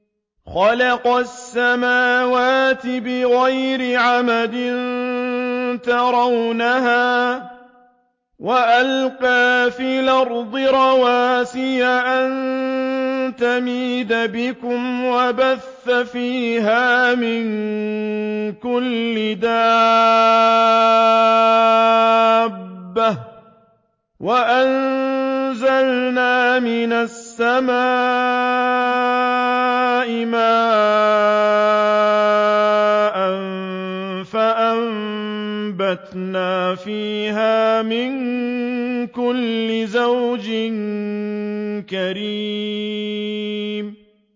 خَلَقَ السَّمَاوَاتِ بِغَيْرِ عَمَدٍ تَرَوْنَهَا ۖ وَأَلْقَىٰ فِي الْأَرْضِ رَوَاسِيَ أَن تَمِيدَ بِكُمْ وَبَثَّ فِيهَا مِن كُلِّ دَابَّةٍ ۚ وَأَنزَلْنَا مِنَ السَّمَاءِ مَاءً فَأَنبَتْنَا فِيهَا مِن كُلِّ زَوْجٍ كَرِيمٍ